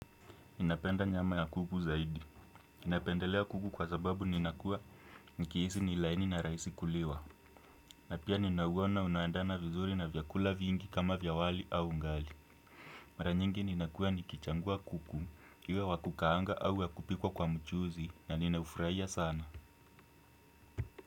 Ninapenda nyama ya kuku zaidi. Napendelea kuku kwasababu ninakuwa nikihisi ni laini na rahisi kuliwa. Napia ninauona unaendana vizuri na vyakula vingi kama vya wali au ugali. Mara nyingi ninakuwa nikichagua kuku, iwe wakukaanga au wakupikwa kwa mchuzi ya ninaufurahia sana.